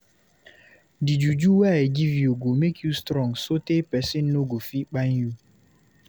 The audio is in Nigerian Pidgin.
Di juju wey I give you go make you strong sotee pesin no go fit kpai you.